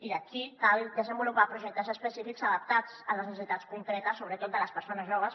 i aquí cal desenvolupar projectes específics adaptats a les necessitats concretes sobretot de les persones joves